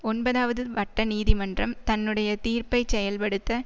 ஒன்பவதாவது வட்ட நீதிமன்றம் தன்னுடைய தீர்ப்பைச் செயல்படுத்த